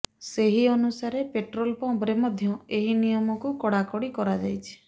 ସେହି ଅନୁସାରେ ପେଟ୍ରୋଲ ପମ୍ପରେ ମଧ୍ୟ ଏହି ନିୟମକୁ କଡାକଡି କରାଯାଇଛି